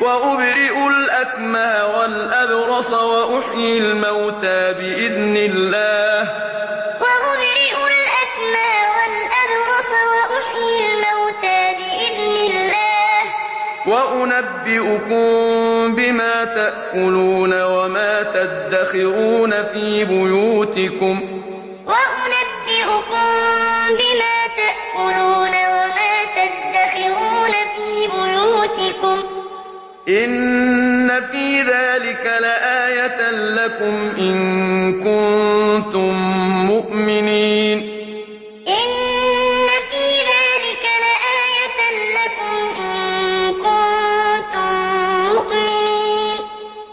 وَأُبْرِئُ الْأَكْمَهَ وَالْأَبْرَصَ وَأُحْيِي الْمَوْتَىٰ بِإِذْنِ اللَّهِ ۖ وَأُنَبِّئُكُم بِمَا تَأْكُلُونَ وَمَا تَدَّخِرُونَ فِي بُيُوتِكُمْ ۚ إِنَّ فِي ذَٰلِكَ لَآيَةً لَّكُمْ إِن كُنتُم مُّؤْمِنِينَ وَرَسُولًا إِلَىٰ بَنِي إِسْرَائِيلَ أَنِّي قَدْ جِئْتُكُم بِآيَةٍ مِّن رَّبِّكُمْ ۖ أَنِّي أَخْلُقُ لَكُم مِّنَ الطِّينِ كَهَيْئَةِ الطَّيْرِ فَأَنفُخُ فِيهِ فَيَكُونُ طَيْرًا بِإِذْنِ اللَّهِ ۖ وَأُبْرِئُ الْأَكْمَهَ وَالْأَبْرَصَ وَأُحْيِي الْمَوْتَىٰ بِإِذْنِ اللَّهِ ۖ وَأُنَبِّئُكُم بِمَا تَأْكُلُونَ وَمَا تَدَّخِرُونَ فِي بُيُوتِكُمْ ۚ إِنَّ فِي ذَٰلِكَ لَآيَةً لَّكُمْ إِن كُنتُم مُّؤْمِنِينَ